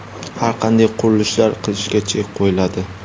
har qanday qurilishlar qilishga chek qo‘yiladi.